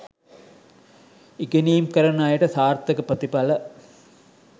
ඉගෙනීම් කරන අයට සාර්ථක ප්‍රතිඵල